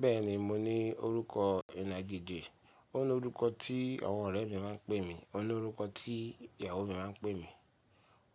Bẹ́ẹ̀ni, mo ní orúkọ ìnagijẹ̀, ó ní orúkọ tí àwọn ọ̀rẹ́ mi máa ń pè mi, ó ní orúkọ tí ìyàwó mi máa ń pè mi,